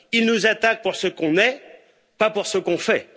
Ils nous attaquent pour ce qu'on est, pas pour ce qu'on fait.